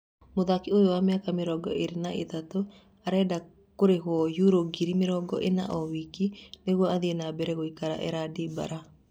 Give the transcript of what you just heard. Mũthaki ũyũ wa mĩaka mĩrongo ĩrĩ na ĩtatu arenda kũrĩhũo yuro ngiri mĩrongo-ĩna o wiki nĩguo athiĩ nambere gũikara Erandi Bara.